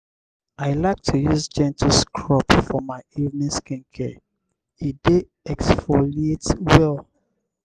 i like to use gentle scrub for my evening skincare; e dey exfoliate well.